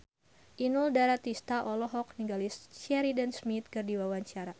Inul Daratista olohok ningali Sheridan Smith keur diwawancara